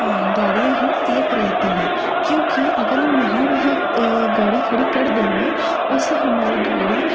अ गाड़ियां हैं सेफ रहती हैं क्योंकि अगर हम यहाँ वहाँ अ गाड़ी खड़ी कर देंगे। उससे हमारी गाड़ी --